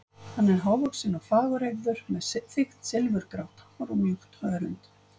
Hann er hávaxinn og fagureygður, með þykkt silfurgrátt hár og mjúkt hörund.